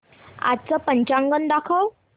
आजचं पंचांग दाखव